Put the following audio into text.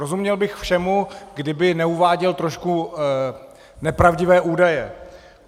Rozuměl bych všemu, kdyby neuváděl trošku nepravdivé údaje.